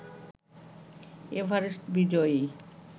Everest বিজয়ী